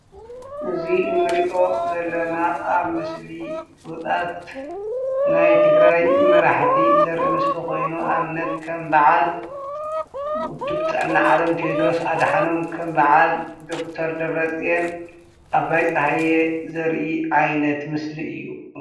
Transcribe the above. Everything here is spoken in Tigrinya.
እዚ ንሪኦ ዘለና ኣብ ምስሊ ፍሉጣት ናይ ትግራይ መራሕቲ ዘርኢ ምስሊ ኮይኑ ንኣብነት ከም በዓል ውድብ ጥዕና ዓለም ቴድሮስ ኣድሓኖም፣ ከም በዓል ዶክተር ደብረፅየን ፣ ኣባይ ፀሃየ ዘርኢ ዓይነት ምስሊ እዩ።